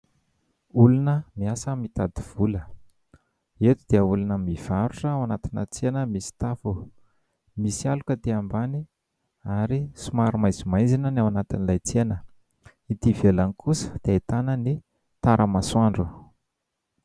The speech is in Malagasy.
Olona miasa mitady vola eto dia olona mivarotra ao anatina tsena misy tafo, misy aloka aty ambany ary somary maizimaizina ny ao anatin'ilay tsena, ety ivelany kosa dia ahitana ny taramasoandro.